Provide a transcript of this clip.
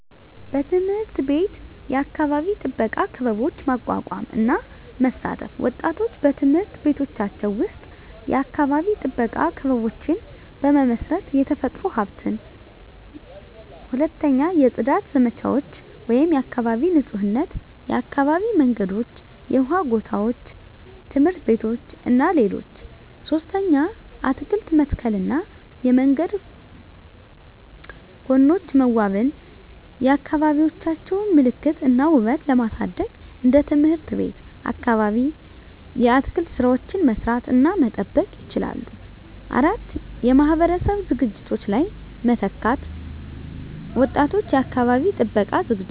1. በትምህርት ቤት የአካባቢ ጥበቃ ክበቦች ማቋቋም እና መሳተፍ ወጣቶች በትምህርት ቤቶቻቸው ውስጥ የአካባቢ ጥበቃ ክበቦችን በመመስረት፣ የተፈጥሮ ሀብትን። 2. የጽዳት ዘመቻዎች (የአካባቢ ንፁህነት) የአካባቢ መንገዶች፣ የውሃ ጎታዎች፣ ትምህርት ቤቶች እና ሌሎች 3. አትክልት መተከልና የመንገድ ጎኖች መዋበን የአካባቢዎቻቸውን ምልክት እና ውበት ለማሳደግ እንደ ትምህርት ቤት ወይም አካባቢ የአትክልት ሥራዎችን መስራት እና መጠበቅ ይችላሉ። 4. የማህበረሰብ ዝግጅቶች ላይ መተካት ወጣቶች የአካባቢ ጥበቃ ዝግጅቶች